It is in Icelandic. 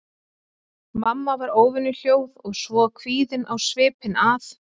Mamma var óvenju hljóð og svo kvíðin á svipinn að